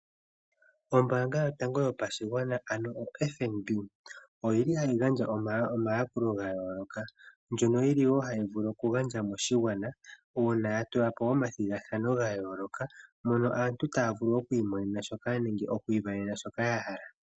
Ombaanga yotango yopashigwana ano o FNB ohayi gandja omayakulo ga yooloka. Ohayi vulu oku gandja omayakulo moshigwana uuna ya tula po omathigathano ga yooloka. Mono aantu taya vulu oku isindanena shoka yahala.